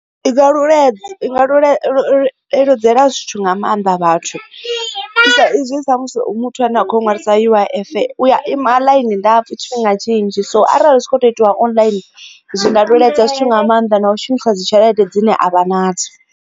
I nga leludzela zwithu nga maanḓa vhathu ezwi musi muthu a ne a khou ngori dza U_I_F u ya ima ḽainini ndapfhu tshifhinga tshinzhi so arali zwi tshi khou tou itiwa online zwinga leludza zwithu nga maanḓa na u shumisa dzi tshelede dzine avha nadzo.